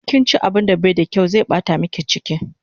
In kinchi abun da bai da kyaw zai bata miki chiki